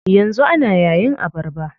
Yanzu ana yayin abarba.